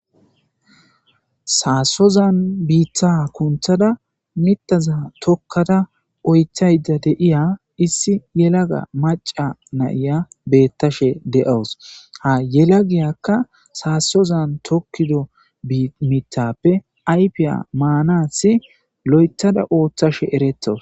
Saasozan biitha kunthada mitaza tokkada oythayda deiya issi yelaga maca nayiya beettashe de7awus. ha yela giyakka saasozan tokkido mitappe aypiya maanathi lo7ethada ooththashe eretto.